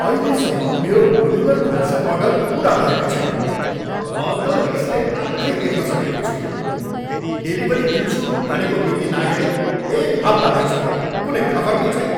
अहिलेसम्म मेरो मोड्युलर भान्सा अर्डर पुरा भएको छैन। म त रिसले आँखै देख्न सकेको छुइनँ। डेलिभरी दिन्छु भनेको मिति नाघेको एक हप्ता भइसक्यो, कुनै खबर नै छैन!